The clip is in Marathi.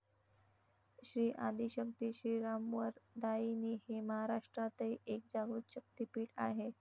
श्री आदिशक्ती श्रीरामवरदायिनी हे महाराष्ट्रातही एक जागृत शक्तीपीठ आहे.